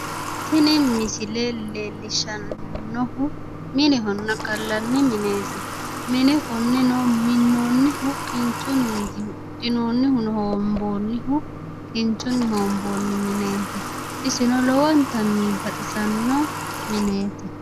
Tini misile leellishannohu minehonna gallanni mineeti mine konneno minoonnihu kinchunniiti huuxxinoonnihuno hoomboonnihu kinchunniiti hoonboonni mineeti isino lowontanni baxisanno mineeti.